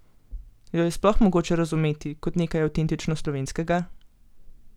Jo je sploh mogoče razumeti kot nekaj avtentično slovenskega?